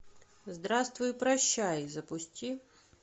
здравствуй и прощай запусти